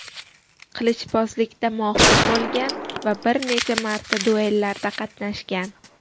Qilichbozlikda mohir bo‘lgan va bir necha marta duellarda qatnashgan.